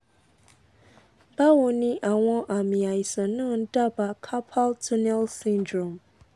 bawo ni awon ami aisan na n daba carpal tunnel syndrome